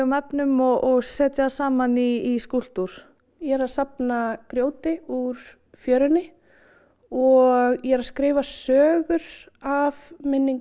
efnum og setja saman í skúlptúr ég er að safna grjóti úr fjörunni og ég er að skrifa sögur af minningum